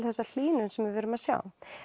þessa hlýnun sem við erum að sjá